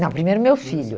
Não, primeiro meu filho.